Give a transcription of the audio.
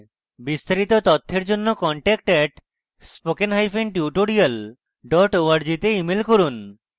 বিস্তারিত তথ্যের জন্য contact @spokentutorial org তে ইমেল করুন